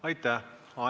Aitäh!